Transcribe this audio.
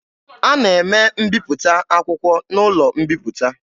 A na-eme mbiputa akwụkwọ n'ụlọ mbiputa.